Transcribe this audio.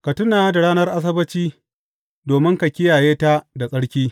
Ka tuna da ranar Asabbaci domin ka kiyaye ta da tsarki.